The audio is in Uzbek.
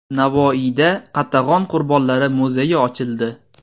Navoiyda Qatag‘on qurbonlari muzeyi ochildi.